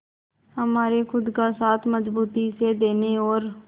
हमारे खुद का साथ मजबूती से देने और